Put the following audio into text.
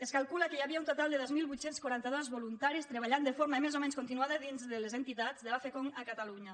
es calcula que hi havia un total de dos mil vuit cents i quaranta dos voluntaris treballant de forma més o menys continuada dins de les entitats de la focngd a catalunya